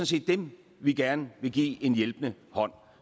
set dem vi gerne vil give en hjælpende hånd